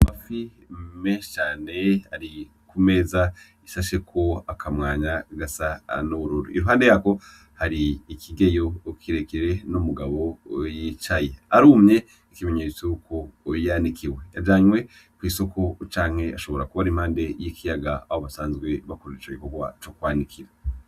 Amafi menshi cane ari ku meza ishasheko akamwanya gasa n'ubururu, iruhande yako hari ikigeyo kirekire, n'umugabo yicaye, arumye ikimenyetso yuko yanikiwe, yajanywe kw'isoko, canke ashobora kuba ari impande y'ikiyaga aho basanzwe bakora ico gikorwa co kwanikira.